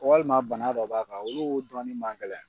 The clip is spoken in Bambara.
Walima bana dɔ b'a kan olu dɔɔni ma gɛlɛ.